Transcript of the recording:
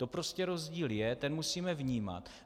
To prostě rozdíl je, ten musíme vnímat.